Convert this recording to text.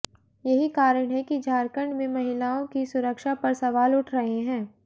यही कारण है कि झारखंड में महिलाओं की सुरक्षा पर सवाल उठ रहे हैं